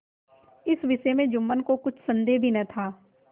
इस विषय में जुम्मन को कुछ भी संदेह न था